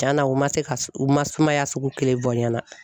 Tiɲɛna u ma se ka sugu ma sumaya sugu kelen fɔ n ɲɛna